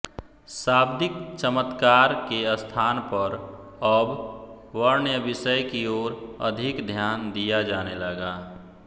शाब्दिक चमत्कार के स्थान पर अब वर्ण्यविषय कीे ओर अधिक ध्यान दिया जाने लगा